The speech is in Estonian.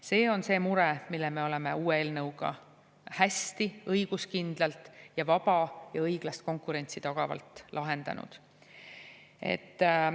See on see mure, mille me oleme uue eelnõuga hästi, õiguskindlalt ja vaba ja õiglast konkurentsi tagavalt lahendanud.